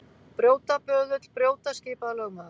Brjóta, böðull, brjóta, skipaði lögmaður.